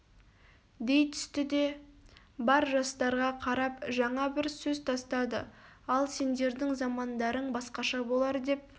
дей түсті де бар жастарға қарап жаңа бір сөз тастады ал сендердің замандарың басқаша болар деп